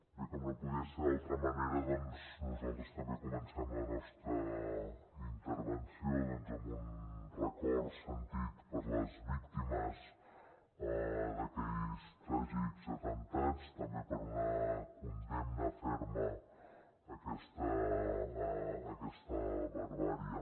bé com no podia ser d’altra manera doncs nosaltres també comencem la nostra intervenció amb un record sentit per les víctimes d’aquells tràgics atemptats també per una condemna ferma d’aquesta barbàrie